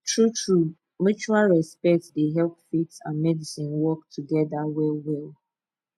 truetrue mutual respect dey help faith and medicine work together well well